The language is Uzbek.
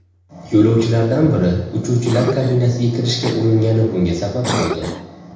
Yo‘lovchilardan biri uchuvchilar kabinasiga kirishga uringani bunga sabab bo‘ldi.